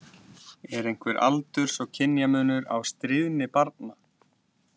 Er einhver aldurs- og kynjamunur á stríðni barna?